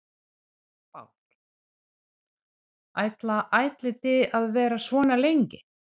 Páll: Ætla ætlið þið að vera svona lengi?